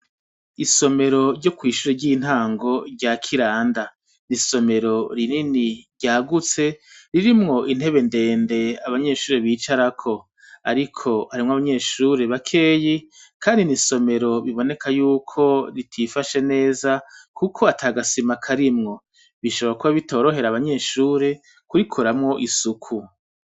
Isomero ryo kw' ishure ry'intango rya Kiranda .ni isomero rinini ryagutse, ririmwo intebe ndende abanyeshure bicarako. Ariko harimwo abanyeshure bakeyi kandi ni isomero riboneka yuko ritifashe neza kuko ataga sima karimwo. Bishobora kuba bitorohera abanyeshure kurikoramwo isuku.